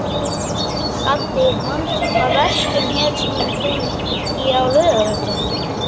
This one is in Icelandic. Gaddi, manstu hvað verslunin hét sem við fórum í á laugardaginn?